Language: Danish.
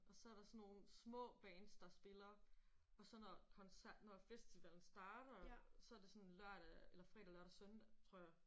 Og så er der sådan nogle små bands der spiller og så når festivalen starter så det sådan lørdag eller fredag lørdag søndag tror jeg